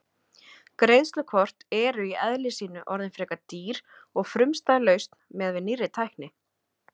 Greiðslukort eru í eðli sínu orðin frekar dýr og frumstæð lausn miðað við nýrri tækni.